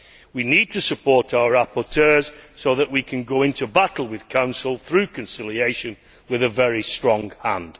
We need to support our rapporteurs so that we can go into battle with Council through conciliation with a very strong hand.